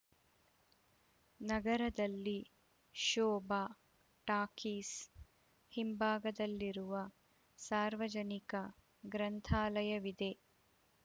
ನಗರದಲ್ಲಿ ಶೋಭಾ ಟಾಕೀಸ್‌ ಹಿಂಭಾಗದಲ್ಲಿರುವ ಸಾರ್ವಜನಿಕ ಗ್ರಂಥಾಲಯವಿದೆ